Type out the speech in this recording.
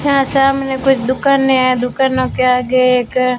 यहां सामने कुछ दुकाने है दुकानों के आगे एक--